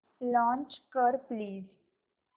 launch कर please